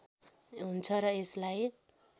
हुन्छ र यसलाई